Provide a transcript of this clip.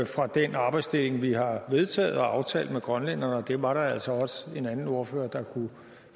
fra den arbejdsdeling vi har vedtaget og aftalt med grønlænderne og dem var der altså også en anden ordfører der kunne